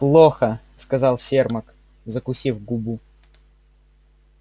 плохо сказал сермак закусив губу